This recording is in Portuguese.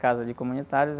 Casa de comunitários.